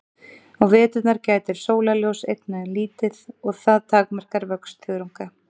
Á veturna gætir sólarljóss einnig lítið og það takmarkar vöxt þörunga.